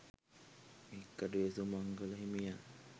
හික්කඩුවේ සුමංගල හිමියන්